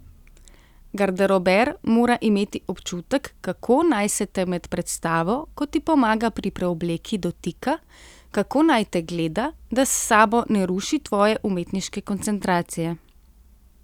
Garderober mora imeti občutek, kako naj se te med predstavo, ko ti pomaga pri preobleki, dotika, kako naj te gleda, da s sabo ne ruši tvoje umetniške koncentracije.